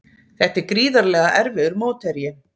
Þetta er gríðarlega erfiður mótherji